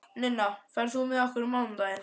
Ninna, ferð þú með okkur á mánudaginn?